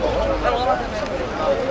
Maşının içində də yoxdur.